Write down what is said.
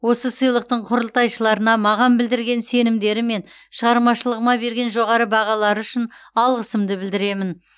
осы сыйлықтың құрылтайшыларына маған білдірген сенімдері мен шығармашылығыма берген жоғары бағалары үшін алғысымды білдіремін